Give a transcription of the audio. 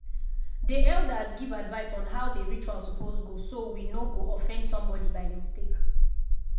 dey elders give advice on how dey rituals suppose go so we no go offend somebody by mistake.